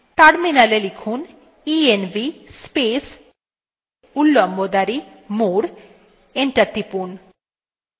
terminal এ লিখুন